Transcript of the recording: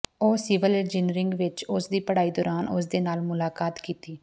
ਉਹ civil engineering ਵਿਚ ਉਸ ਦੀ ਪੜ੍ਹਾਈ ਦੌਰਾਨ ਉਸ ਦੇ ਨਾਲ ਮੁਲਾਕਾਤ ਕੀਤੀ